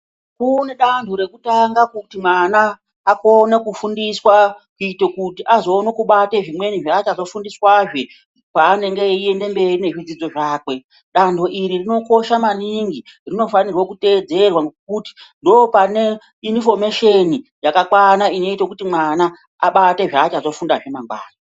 Kune danto rekutanga kuti mwana, akone kufundiswa ,kuite kuti, azoone kubate zvimweni zvaachazofundiswazve, paanenge eiende mberi nezvidzidzo zvakwe. Danho iri rinokosha maningi. Rinofanirwe kuteedzera ngokuti, ndopane iniifomesheni yakakwana inoite kuti mwana abate zvaachazofundazve mangwani.